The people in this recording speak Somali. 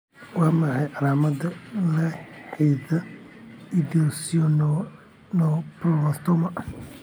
Waa maxay calaamadaha la xidhiidha esthesioneuroblastoma?